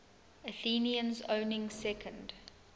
athenians owning second